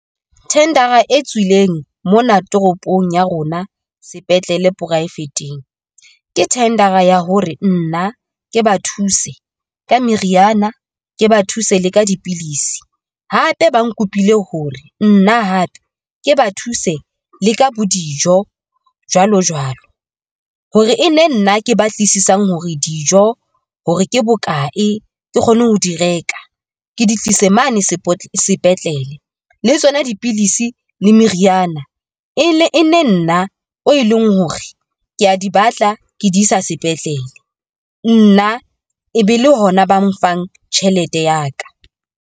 Thendara e tswileng mona toropong ya rona sepetlele poraefeteng, ke thendera ya hore nna ke ba thuse ka meriana, ke ba thuse le ka dipilisi. Hape ba nkopile hore nna hape ke ba thuse le ka bo dijo jwalo jwalo, hore e nne nna ke ba utlwisisang hore dijo hore ke bokae ke kgone ho di reka ke di tlise mane sepetlele. Le tsona dipidisi le meriana e ne e nne nna o e leng hore kea di batla ke di isa sepetlele, nna e be le hona ba mfang tjhelete ya ka.